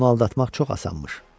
Onu aldatmaq çox asanmış.